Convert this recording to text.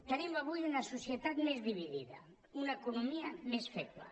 tenim avui una societat més dividida una economia més feble